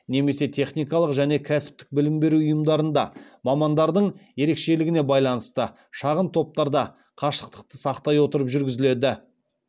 немесе техникалық және кәсіптік білім беру ұйымдарында шағын топтарда қашықтықты сақтай отырып жүргізіледі